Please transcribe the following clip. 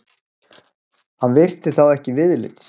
Hann virti þá ekki viðlits.